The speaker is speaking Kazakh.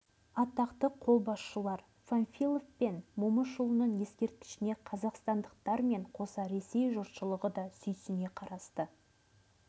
атақты қолбасшылар панфилов пен момышұлының ескерткішіне қазақстандықтармен қоса ресей жұртшылығы да сүйсіне қарасты